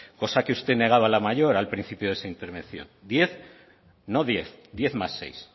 cosa que usted negaba la mayor al principio de su intervención diez no diez diez más seis